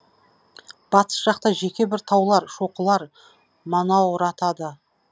батыс жақта жеке бір таулар шоқылар манауратады